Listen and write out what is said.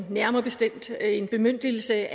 nærmere bestemt en bemyndigelse